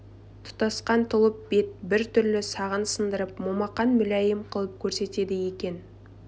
тұтасқан тұлып бет бір түрлі сағын сындырып момақан мүләйім қылып көрсетеді екен